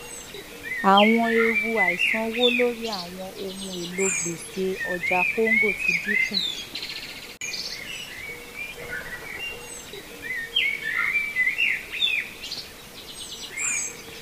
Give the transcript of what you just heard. àwọn ewu àìsanwó lórí àwọn ohun èlò gbèsè ọjà congo ti dín kù